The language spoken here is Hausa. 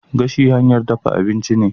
Gashi hanyar dafa abinci ne.